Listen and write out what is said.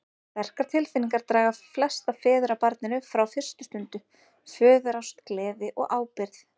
Sterkar tilfinningar draga flesta feður að barninu frá fyrstu stundu, föðurást, gleði og ábyrgð.